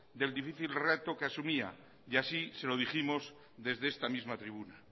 del difícil reto que asumía y así se lo dijimos desde esta misma tribuna